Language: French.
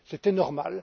C'était normal.